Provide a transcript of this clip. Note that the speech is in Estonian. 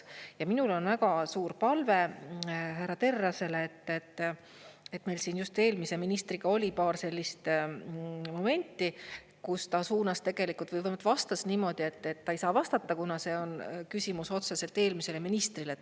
Ja minul on väga suur palve härra Terrasele: meil siin just eelmise ministriga oli paar sellist momenti, kus ta suunas vastas niimoodi, et ta ei saa vastata, kuna see oli küsimus otseselt eelmisele ministrile.